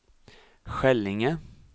Skällinge